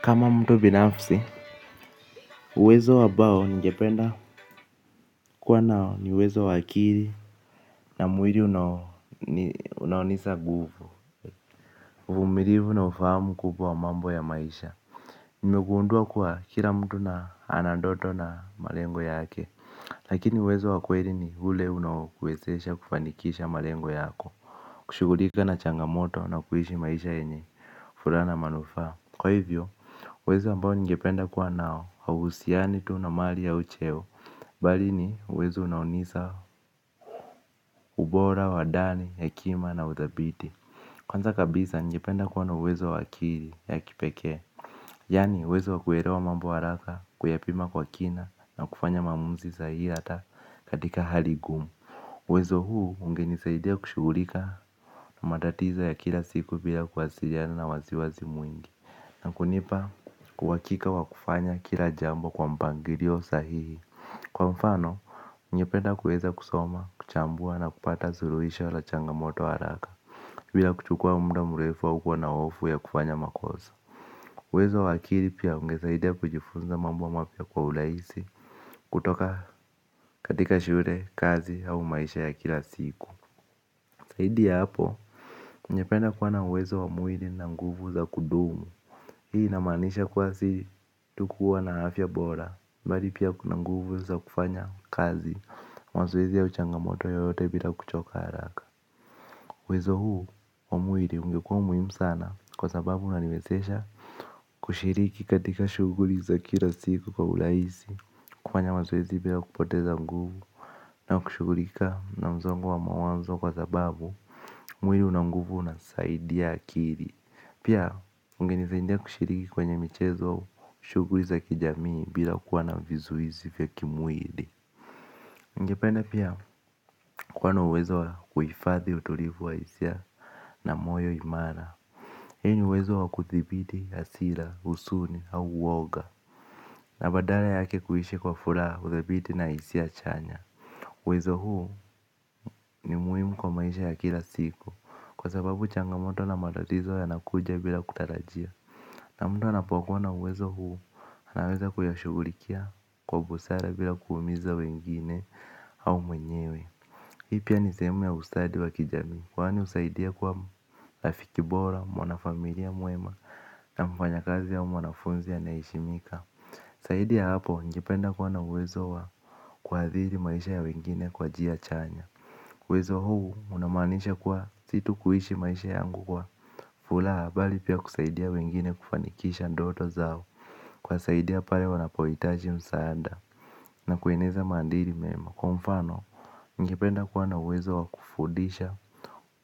Kama mtu binafsi, uwezo ambao ningependa kuwa nao ni uwezo wa akili na mwili unaonisa nguvu. Uvumilivu na ufahamu kubwa wa mambo ya maisha. Nimegundua kuwa kila mtu na anandoto na malengo yake. Lakini uwezo wa kweli ni ule unaokuwezesha kufanikisha malengo yako. Kushugulika na changamoto na kuishi maisha yenye. Furaha na manufaa kwa hivyo, uwezo ambao ningependa kuwa nao hauhusiani tu na mali ya ucheo. Bali ni, uwezo unaunisa ubora, wa ndani, hekima na uthabiti kwanza kabisa ningepnda kuwa na uwezo wa akili ya kipekee. Yani, uwezo wa kuelewa mambo haraka kuyapima kwa kina na kufanya maamuzi sahihi hata katika hali ngumu uwezo huu ungenisaidia kushugulika na matatizo ya kila siku bila kuwasiliana na wasiwasi mwingi. Na kunipa uhakika wa kufanya kila jambo kwa mpangilio sahihi. Kwa mfano, ningependa kuweza kusoma, kuchambua na kupata suluhisho la changamoto haraka bila kuchukua muda mrefu au kuwa na hofu ya kufanya makosa uwezo wa akili pia ungesaidia kujifunza mambo mapya kwa urahisi kutoka katika shule kazi au maisha ya kila siku zaidi ya hapo ningependa kuwa na uwezo wa mwili na nguvu za kudumu. Hii inamaanisha kuwa si tu kuwa na afya bora. Mbali pia kuna nguvu za kufanya kazi. Mazoezi au changamoto yoyote bila kuchoka haraka uwezo huu wa mwili ungekua muhimu sana kwa sababu unaniwezesha kushiriki katika shuguli za kila siku kwa urahisi kufanya mazoezi bila kupoteza nguvu. Na kushugulika na msongo wa mawazo kwa sababu mwili una nguvu unasaidia akili. Pia ungenisaidia kushiriki kwenye michezo shuguli za kijamii bila kuwa na vizuizi vya kimwili. Ningependa pia kuwa na uwezo wa kuhifadhi utulivu wa hisia na moyo imara. Hii ni uwezo wa kuthibiti, hasira, huzuni au uoga na badala yake kuishi kwa furaha udhabiti na hisia chanya uwezo huu ni muhimu kwa maisha ya kila siku kwa sababu changamoto na tatizo yanakuja bila kutarajia. Na mtu anapokuwa na uwezo huu, anaweza kuyashugulikia kwa busara bila kuumiza wengine au mwenyewe. Hii pia nisehemu ya ustadi wa kijamii kwani husaidia kuwa rafiki bora, mwanafamilia mwema na mfanyakazi au mwanafunzi anayeheshimika zaidi ya hapo ningependa kuwa na uwezo wa kuadhiri maisha ya wengine kwa njia chanya. Uwezo huu unamaanisha kwa si tu kuishi maisha yangu kwa furaha bali pia kusaidia wengine kufanikisha ndoto zao kuwasaidia pale wanapohitaji msaada na kueneza maadili mema. Kwa mfano, ningependa kuwa na uwezo wa kufundisha,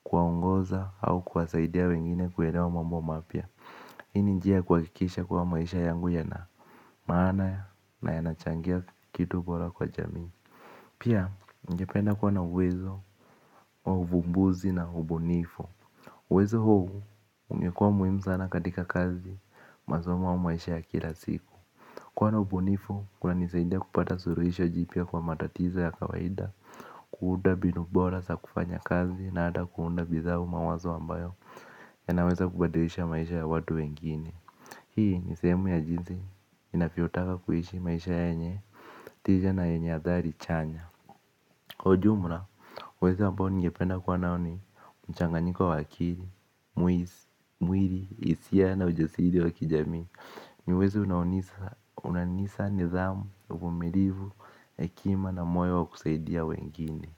kuwaongoza au kuwasaidia wengine kuelewa mambo mapya hii ni njia kuhakikisha kuwa maisha yangu yanamaana na yanachangia kitu bora kwa jamii. Pia ningependa kuwa na uwezo wa uvumbuzi na ubunifu. Uwezo huu, ungekua muhimu sana katika kazi, masoma au maisha ya kila siku kwani ubunifu, kunanisaidia kupata suluhisho jipya kwa matatizo ya kawaida. Kuunda mbinu bora za kufanyakazi na hata kuunda bidhaa au mawazo ambayo yanaweza kubadilisha maisha ya watu wengine. Hii, nisehemu ya jinsi, inavyotaka kuishi maisha yenye, tija na yenye athari chanya. Kwa ujumla, uwezo ambao ningependa kwa nao ni mchanganyiko wa wa akili, mwili, hisia na ujasiri wa kijamii ni uwezo unanisa nithamu, uvumilivu, hekima na moyo wa kusaidia wengine.